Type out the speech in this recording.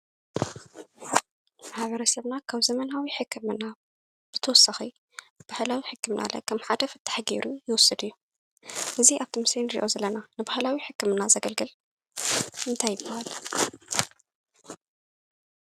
ማሕበረሰብና ካብ ዘመናዊ ሕክምና ብተወሳኺ ባህላዊ ሕክምና ከም ሓደ ፍታሕ ገይሩ ይወስድ እዩ፡፡ እዚ ኣብቲ ምስሊ ንሪኣ ዘለና ንባህላዊ ሕክምና ዘገልግል እንታይ ይበሃል?